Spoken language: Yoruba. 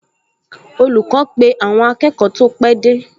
Olùkọ́ pe àwọn akẹ́kọ̀ọ tó pẹ́ dé